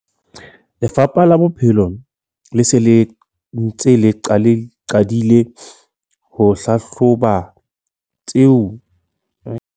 Lefapha la Bodulo le se le ntse le qadile ho hlahloba tshenyo e etsahetseng matlong provenseng ka bophara.